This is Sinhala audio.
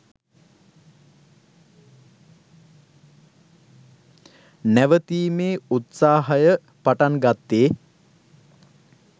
නැවතීමේ උත්සාහය පටන්ගත්තෙ